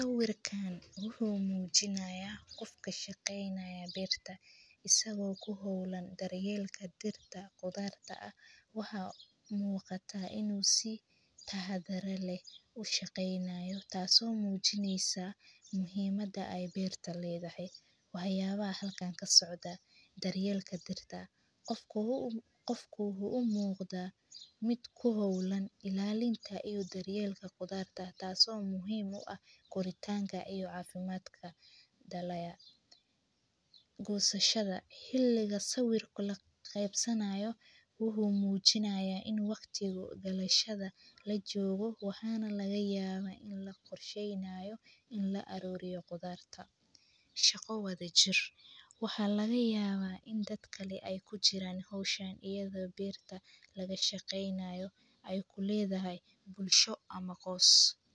Saawirkaan wuxuu muujinayaa qofka shaqeynaya beerta isagoo ku howlan daryeelka dirta. Qodarta ah waxaa muuqata inuu sii tahay dareer leh u shaqeynaayo. Taasoo muujinaysa muhiimadda ay beerta leedahay, waxaa yaaba halkaan ka socda daryeelka dirta. Qofkuu wuxuu muuqda mid ku howlan ilaalinta iyo daryeelka qodarta ah, taasoo muhiima ah koritaanka iyo caafimaadka dalaya go'sashada. Hilliga sawirku la qaybsanayo wuxuu muujinayaa in waqtigu galayshada la joogo, waxaana laga yaaba in la qorsheyneyo in la aruriyo qodaarta. Shaqo wada jir. Waxaa laga yaabaa in dad kale ay ku jiraan hawshaan iyadoo beerta laga shaqeynayo ay ku leedahay bulsho ama qos.